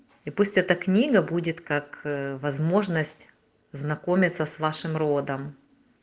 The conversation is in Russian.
и пусть эта книга будет как возможность знакомиться с вашим родом